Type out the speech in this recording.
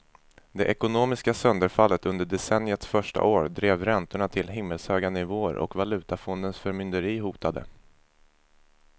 Det ekonomiska sönderfallet under decenniets första år drev räntorna till himmelshöga nivåer och valutafondens förmynderi hotade.